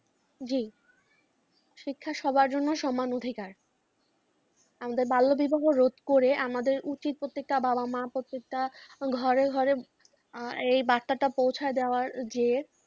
জ্বি, শিক্ষা সবার জন্য সমান অধিকার। আমাদের বাল্য বিবাহ রোধ করে আমাদের উচিত, প্রতিটা বাবা মা প্রতিটা ঘরে ঘরে এই বার্তাটা পৌঁছে দেওয়ার যে,